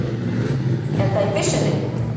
Er það í byssunni?